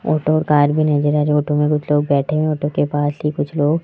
auto व car भी नजर आ रही ऑटो में कुछ लोग बैठे है ऑटो के पास ही कुछ लोग --